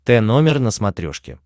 т номер на смотрешке